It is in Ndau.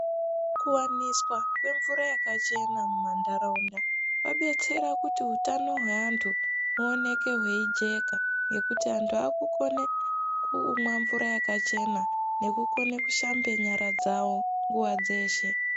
Kuwaniswa kwemvura yakachena muntaraunda kwabetsera kuti utano hweantu huoneke hweijeka ngekuti antu akukone kumwe mvura yakachena nekukona kushamba nyara dzawo .